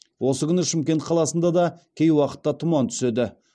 осы күні шымкент қаласында да кей уақытта тұман түседі